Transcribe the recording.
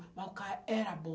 Mas o cara era bom.